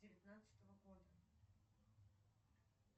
девятнадцатого года